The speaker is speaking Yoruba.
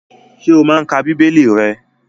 Ṣé o n ka bíbélì rẹ?